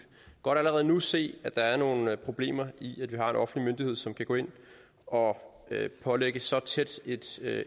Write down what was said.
godt allerede nu se at der er nogle problemer i at vi har en offentlig myndighed som kan gå ind og pålægge så tæt et